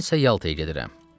Mən isə Yaltaya gedirəm.